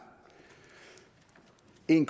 en